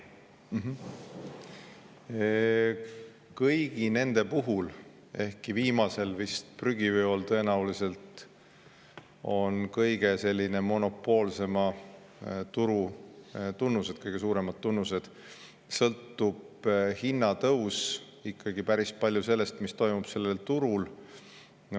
Kõigi nende puhul – ehkki viimasel, prügiveol, tõenäoliselt on kõige suuremad monopoolse turu tunnused – sõltub hinnatõus ikkagi päris palju sellest, mis toimub sellel turul.